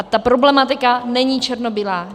A ta problematika není černobílá.